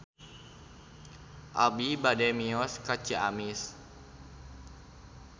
Abi bade mios ka Ciamis